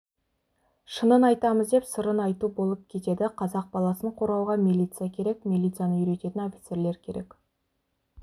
шынын айтамыз деп сырын айту болып кетеді қазақ баласын қорғауға милиция керек милицияны үйрететін офицерлер керек